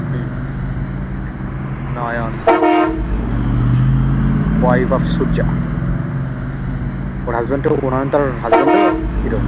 hmm Nayanthara wife of surya ওর husband ও নয়নতারার husband ও hero